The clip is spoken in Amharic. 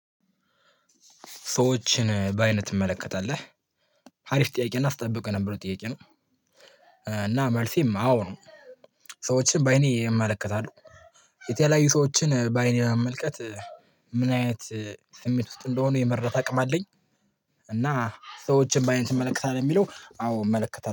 ሰዎችን በአይን ትመለከታለህ አሪፍ ጥያቄ እና ስጠብቀው የነበረ ጥያቄ ነው እና መልሴም አዎ ነው ሰዎችን በአይኔ እመለከታለሁ የተለያዩ ሰዎችን በአይኔ መመልከት ምን አይነት ስሜት ውስጥ እንደሆነ የመረዳት አቅም አለኝ እና ሰዎችን በአይን ትመለከታለህ የሚለው አዎ እመለከታለው።